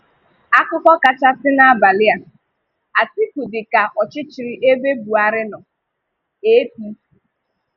Akụkọ kachàsị n’abalị a: Atiku dị ka ọchịchịrị ebe Buhari nọ – APC.